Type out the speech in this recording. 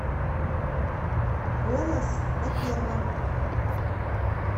голос на первом